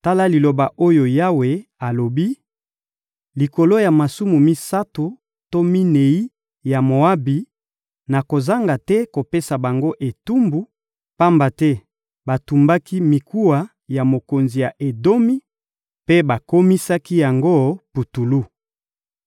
Tala liloba oyo Yawe alobi: «Likolo ya masumu misato to minei ya Moabi, nakozanga te kopesa bango etumbu, pamba te batumbaki mikuwa ya mokonzi ya Edomi mpe bakomisaki yango putulu.